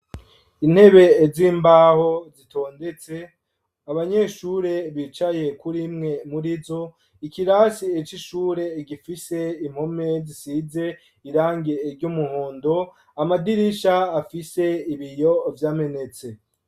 Intebe z'imbaho, zitondetse ,abanyeshure bicaye kurimwe muri zo, ikirasi c'ishure gifise impome zisize irangi ry'umuhondo, amadirisha afise ibiyo vyamenetse.